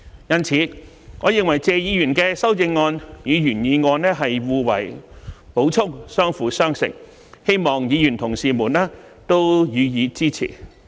因此，我認為謝議員提出的修正案與原議案是互為補充，相輔相成，希望議員同事予以支持。